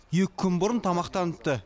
екі күн бұрын тамақтаныпты